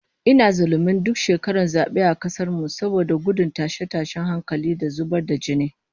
Ina zullumin duk shekaran zabe a kasar mu, saboda gudun tashe-tashen hankula da zubar da jini